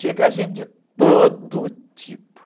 Chega gente de todo tipo.